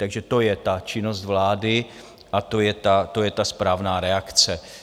Takže to je ta činnost vlády a to je ta správná reakce.